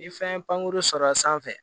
Ni fɛn pankurun sɔrɔla sanfɛ